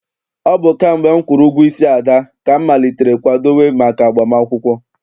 Ọ bụ kamgbe m kwụrụ ụgwọ isi Ada, ka m malitere kwadowe maka agbam akwụkwọ.